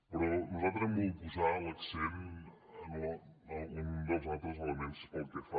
però nosaltres hem volgut posar l’accent en un dels altres elements pel que fa